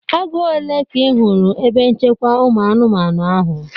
Agụ ole ka ị hụrụ na ebe nchekwa ụmụ anụmanụ ahụ?